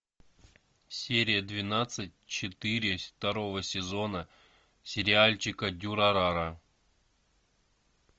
серия двенадцать четыре второго сезона сериальчика дюрарара